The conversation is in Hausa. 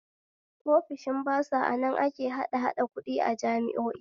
Ofishin basa anan ake hadahada kuɗi a jami'o'i